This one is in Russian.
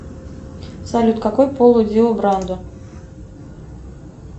салют какой пол у дио брандо